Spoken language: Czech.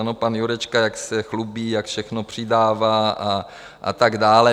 Ano, pan Jurečka, jak se chlubí, jak všechno přidává a tak dále.